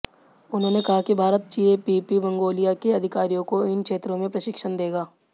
उन्होंने कहा कि भारत जीएबीपी मंगोलिया के अधिकारियों को इन क्षेत्रों में प्रशिक्षण देगा